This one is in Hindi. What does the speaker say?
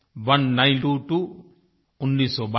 ओने नाइन त्वो त्वो उन्नीस सौ बाईस